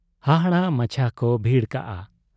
ᱦᱟᱦᱟᱲᱟ ᱢᱟᱪᱦᱟ ᱠᱚ ᱵᱷᱟᱲᱚ ᱠᱟᱜ ᱟ᱾